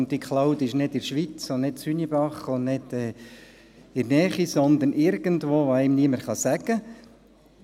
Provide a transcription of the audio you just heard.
Und diese Cloud ist nicht in der Schweiz und nicht in Hünibach und nicht in der Nähe, sondern irgendwo – niemand kann einem sagen wo.